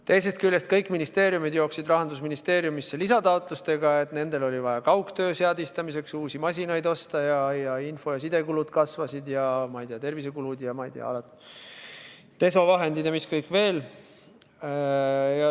Teisest küljest kõik ministeeriumid jooksid Rahandusministeeriumisse lisataotlustega, et nendel oli vaja kaugtöö seadistamiseks uusi masinaid osta ning info- ja sidekulud kasvasid, tervisekulud, desovahendid ja mis kõik veel.